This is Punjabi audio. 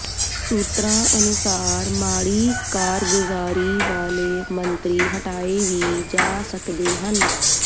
ਸੂਤਰਾਂ ਅਨੁਸਾਰ ਮਾੜੀ ਕਾਰਗੁਜ਼ਾਰੀ ਵਾਲੇ ਮੰਤਰੀ ਹਟਾਏ ਵੀ ਜਾ ਸਕਦੇ ਹਨ